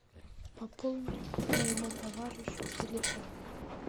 пополни моему товарищу телефон